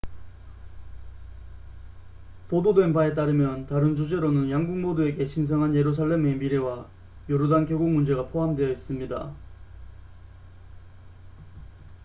보도된 바에 따르면 다른 주제로는 양국 모두에게 신성한 예루살렘의 미래와 요르단 계곡 문제가 포함되어 있습니다